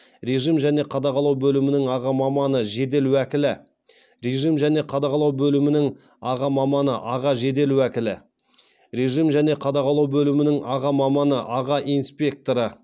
режим және қадағалау бөлімінің аға маманы жедел уәкілі режим және қадағалау бөлімінің аға маманы аға жедел уәкілі режим және қадағалау бөлімінің аға маманы аға инспекторы